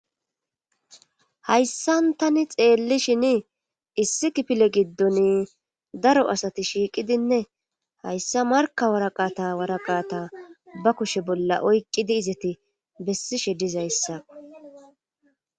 hayssan tani xeelli shini issi kipile giddon daro asati shiiqidinne hayssa marka waraqata waraqata ba kushe bolla oyqqidi izati bessishe dizayssa